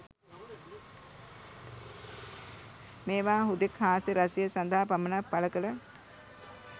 මේවා හුදෙක් හාස්‍ය රසය සදහා පමණක් පළකල